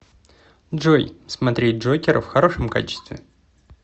джой смотреть джокера в хорошем качестве